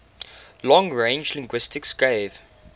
long range linguistics gave